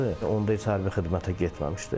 Onda heç hərbi xidmətə getməmişdi.